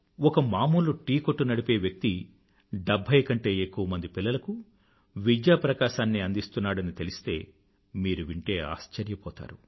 ఒక మామూలు టీ కొట్టు నడిపే వ్యక్తి డెభ్భై కంటే ఎక్కువ మంది పిల్లలకు విద్యా ప్రకాశాన్ని అందిస్తున్నాడని తెలిస్తే మీరు వింటే ఆశ్చర్యపోతారు